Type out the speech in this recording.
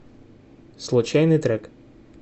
случайный трек